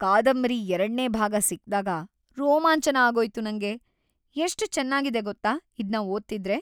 ಕಾದಂಬರಿ ಎರಡ್ನೇ ಭಾಗ ಸಿಕ್ದಾಗ ರೋಮಾಂಚನ ಆಗೋಯ್ತು ನಂಗೆ, ಎಷ್ಟ್‌ ಚೆನ್ನಾಗಿದೆ ಗೊತ್ತಾ ಇದ್ನ ಓದ್ತಿದ್ರೆ!